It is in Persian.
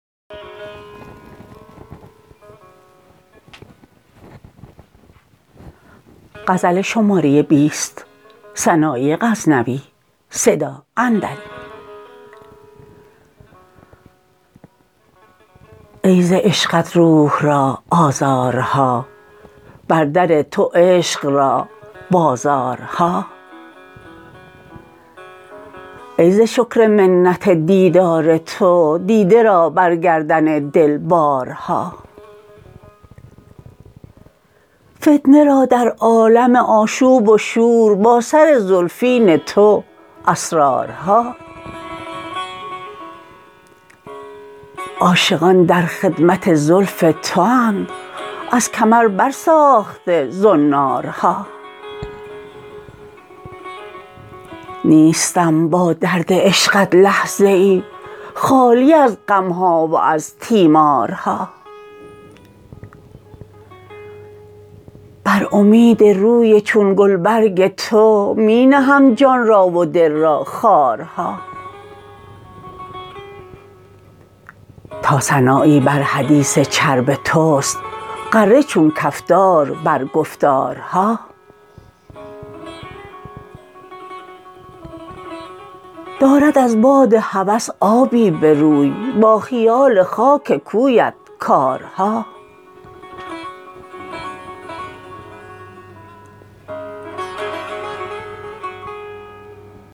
ای ز عشقت روح را آزارها بر در تو عشق را بازارها ای ز شکر منت دیدار تو دیده را بر گردن دل بارها فتنه را در عالم آشوب و شور با سر زلفین تو اسرارها عاشقان در خدمت زلف تواند از کمر بر ساخته زنارها نیستم با درد عشقت لحظه ای خالی از غم ها و از تیمارها بر امید روی چون گلبرگ تو می نهم جان را و دل را خارها تا سنایی بر حدیث چرب توست غره چون کفتار بر گفتارها دارد از باد هوس آبی به روی با خیال خاک کویت کارها